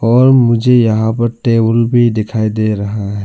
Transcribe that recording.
और मुझे यहां पर टेबल भी दिखाई दे रहा है।